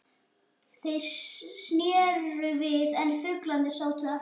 Þeir sneru við en fuglarnir sátu eftir.